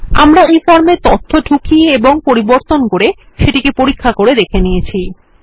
আমরা এই ফর্মে তথ্য ঢুকিয়ে এবং পরিবর্তন করে সেটিকে পরীক্ষা করে দেখে নিয়েছি